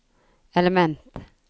element